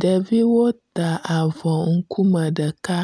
Ɖeviwo ta avɔ ŋkume ɖeka